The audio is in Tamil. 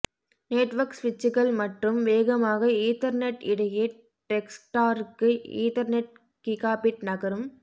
நெட்வொர்க் சுவிட்சுகள் மற்றும் வேகமாக ஈத்தர்நெட் இடையே டெஸ்க்டாருக்கு ஈதர்நெட் கிகாபிட் நகரும்